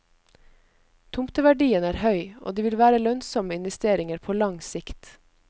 Tomteverdien er høy, og de vil være lønnsomme investeringer på lang sikt.